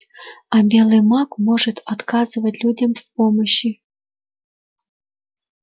а белый маг может отказывать людям в помощи